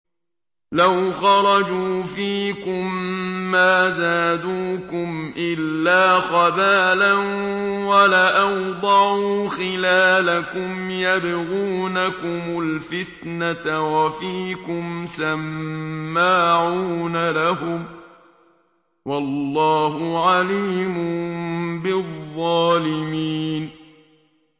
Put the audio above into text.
لَوْ خَرَجُوا فِيكُم مَّا زَادُوكُمْ إِلَّا خَبَالًا وَلَأَوْضَعُوا خِلَالَكُمْ يَبْغُونَكُمُ الْفِتْنَةَ وَفِيكُمْ سَمَّاعُونَ لَهُمْ ۗ وَاللَّهُ عَلِيمٌ بِالظَّالِمِينَ